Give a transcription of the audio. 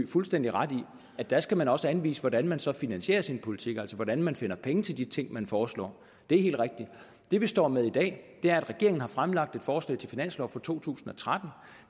fuldstændig ret i at der skal man også anvise hvordan man så finansierer sin politik altså hvordan man finder penge til de ting man foreslår det er helt rigtigt det vi står med i dag er at regeringen har fremlagt et forslag til finanslov for to tusind og tretten